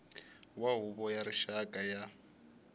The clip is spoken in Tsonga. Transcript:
wa huvo ya rixaka ya